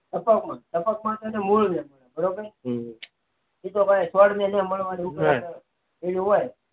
ટપક માં ટપક માં છેને ઓલું હોય એમાં સો રૂપિયા મળવાના